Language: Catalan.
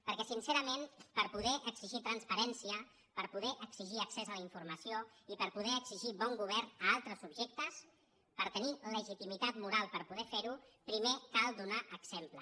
perquè sincerament per poder exigir transparència per poder exigir accés a la informació i per poder exigir bon govern a altres subjectes per tenir legitimitat moral per poder fer ho primer cal donar exemple